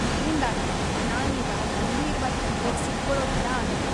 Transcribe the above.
ಇದ್ರಿಂದಾಗಿ ನಾನೀಗ ಗಂಭೀರ್ವಾದ್ ತೊಂದ್ರೆಗ್ ಸಿಕ್ಕೊಳೋ ಥರ ಆಗಿದೆ.